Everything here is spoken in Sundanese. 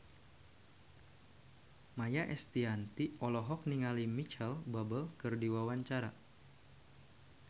Maia Estianty olohok ningali Micheal Bubble keur diwawancara